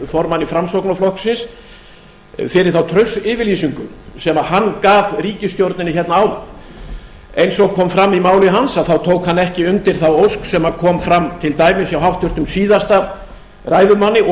formanni framsóknarflokksins fyrir þá traustsyfirlýsinguna sem hann gaf ríkisstjórninni hérna áðan eins og kom fram í máli hans tók hann ekki undir þá ósk sem kom fram til dæmis hjá háttvirtum síðasta ræðumanni og